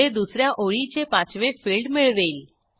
जे दुस या ओळीचे पाचवे फिल्ड मिळवेल